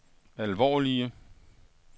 alvorlige